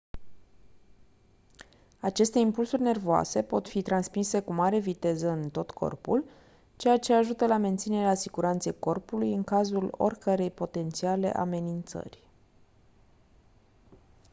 aceste impulsuri nervoase pot fi transmise cu mare viteză în tot corpul ceea ce ajută la menținerea siguranței corpului în cazul oricărei potențiale amenințări